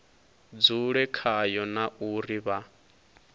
dzule khayo na uri vha